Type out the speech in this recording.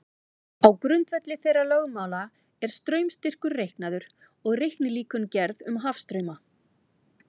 Á grundvelli þeirra lögmála er straumstyrkur reiknaður og reiknilíkön gerð um hafstrauma.